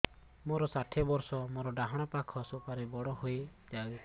ମୋର ଷାଠିଏ ବର୍ଷ ମୋର ଡାହାଣ ପାଖ ସୁପାରୀ ବଡ ହୈ ଯାଇଛ